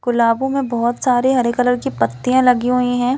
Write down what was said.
गुलाबों में बहुत सारे हरे कलर की पत्तियाँ लगी हुई है।